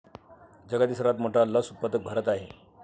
जगातील सर्वात मोठा लस उत्पादक भारत आहे.